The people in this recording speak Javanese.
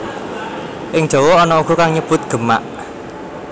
Ing Jawa ana uga kang nyebut Gemak